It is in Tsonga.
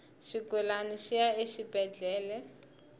xigulana xi ya exibedhlele